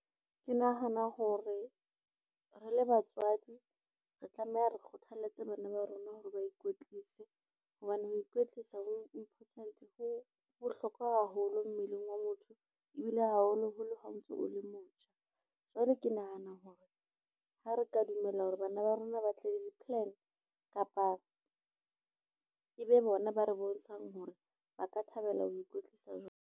Ke nahana hore re le batswadi re tlameha, re kgothaletse bana ba rona hore ba ikwetlise hobane ho ikwetlisa ho bohlokwa haholo mmeleng wa motho ebile haholoholo ha o ntso o le motjha. Jwale ke nahana hore ha re ka dumela hore bana ba rona ba tle le di-plan kapa, e be bona ba re bontshang hore ba ka thabela ho ikwetlisa jwang.